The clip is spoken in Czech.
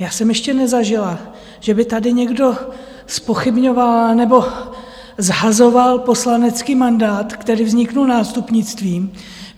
Já jsem ještě nezažila, že by tady někdo zpochybňoval nebo shazoval poslanecký mandát, který vznikl nástupnictvím.